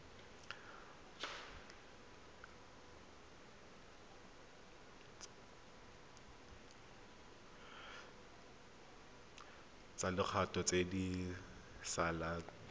tsa lekgetho tse di saletseng